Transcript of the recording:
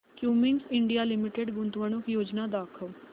Cummins India Limited गुंतवणूक योजना दाखव